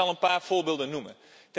Ik zal een paar voorbeelden noemen.